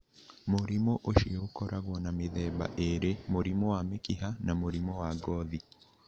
Mũrimũ ũcio ũkoragwo na mĩthemba ĩĩrĩ, mũrimũ wa mĩkiha na mũrimũ wa wa ngothi.